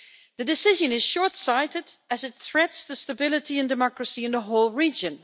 The decision is short sighted, as it threatens stability and democracy in the whole region.